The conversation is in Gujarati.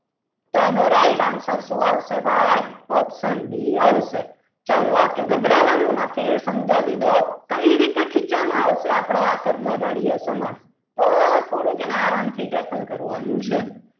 તો આનો right answer શું આવશે ભાઈ option બી આવશે ચલો okay ગભરાવાનું નથી સમજાવી દઉં કઈ રીતે ખીચામાં આવશે આ આપણું કર્મદાઈ સમાસ તો થોડું એને આરામથી tracker કરવાનું છે.